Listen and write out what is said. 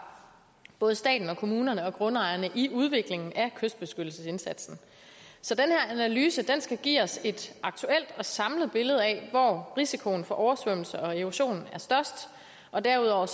både staten og kommunerne og grundejerne i udviklingen af kystbeskyttelsesindsatsen så den her analyse skal give os et aktuelt og samlet billede af hvor risikoen for oversvømmelser og erosion er størst og derudover